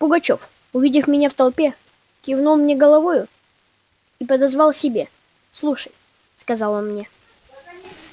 пугачёв увидев меня в толпе кивнул мне головою и подозвал к себе слушай сказал он мне